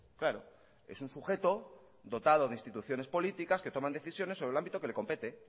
claro es un sujeto dotado de instituciones políticas que toman decisiones sobre el ámbito que le compete